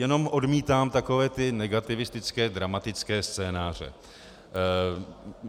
Jenom odmítám takové ty negativistické dramatické scénáře.